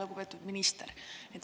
Lugupeetud minister!